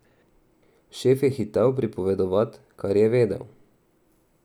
Šef je hitel pripovedovat, kar je vedel.